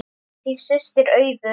Þín systir, Auður.